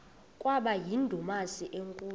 kwaba yindumasi enkulu